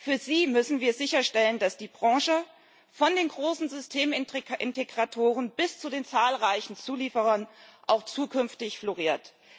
Für sie müssen wir sicherstellen, dass die Branche von den großen Systemintegratoren bis zu den zahlreichen Zulieferern auch zukünftig floriert.